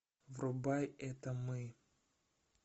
врубай это мы